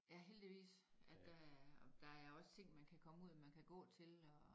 Ja heldigvis at der er at der er også ting man kan komme ud og man kan gå til og